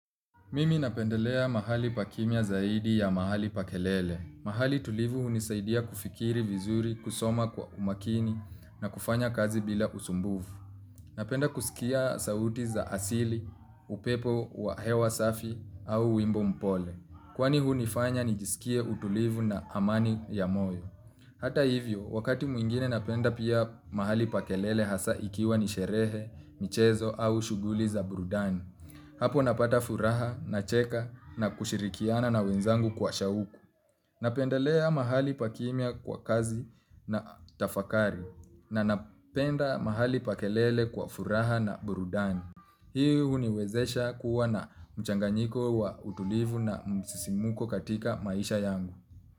Mimi napendelea mahali pakimya zaidi ya mahali pa kelele. Mahali tulivu hunisaidia kufikiri vizuri kusoma kwa umakini na kufanya kazi bila usumbufu. Napenda kusikia sauti za asili, upepo wa hewa safi au wimbo mpole. Kwani hunifanya nijisikie utulivu na amani ya moyo. Hata hivyo, wakati mwingine napenda pia mahali pa kelele hasa ikiwa ni sherehe, michezo au shughuli za burudani. Hapo napata furaha na cheka na kushirikiana na wenzangu kwa shauku. Napendelea mahali pakimya kwa kazi na tafakari na napenda mahali pa kelele kwa furaha na burudani. Hii huniwezesha kuwa na mchanganyiko wa utulivu na msisimko katika maisha yangu.